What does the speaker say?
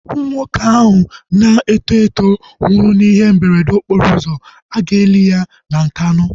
Nwoke ahụ na-eto eto nwụrụ na ihe mberede okporo ụzọ, aga eli ya na Nkanu